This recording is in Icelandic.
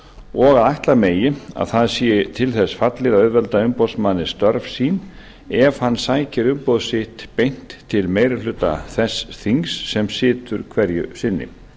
og að ætla megi að það sé til þess fallið að auðvelda umboðsmanni störf sín ef hann sækir umboð sitt beint til meiri hluta þess þings sem situr hverju sinni